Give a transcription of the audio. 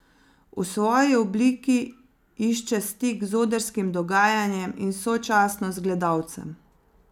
V svoji obliki išče stik z odrskim dogajanjem in sočasno z gledalcem.